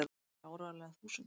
Þær eru áreiðanlega þúsund!!